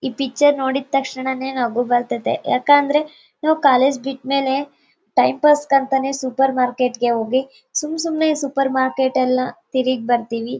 ಈ ಪಿಕ್ಚರ್ ನೋಡಿದ್ ತಕ್ಷಣನೆ ನಗು ಬರ್ತದೆ ಯಾಕಂದ್ರೆ ನಾವ್ ಕಾಲೇಜು ಬಿಟ್ ಮೇಲೆ ಟೈಮ್ ಪಾಸ್ಗೆ ಅಂತಾನೆ ಸೂಪರ್ ಮಾರ್ಕೆಟ್ಗೆ ಹೋಗಿ ಸುಮ್ ಸುಮ್ನೆ ಸೂಪರ್ ಮಾರ್ಕೆಟ್ ಎಲ್ಲಾ ತಿರುಗ್ ಬರ್ತಿವಿ.